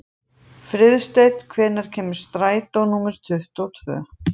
Friðsteinn, hvenær kemur strætó númer tuttugu og tvö?